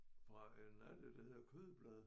Fra en alge der hedder kødblade